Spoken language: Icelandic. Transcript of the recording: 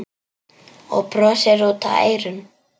Og brosir út að eyrum.